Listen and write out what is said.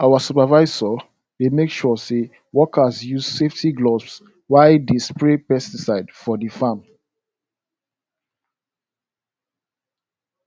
our supervisor dey make sure workers use safety gloves while dey spray pesticides for di farm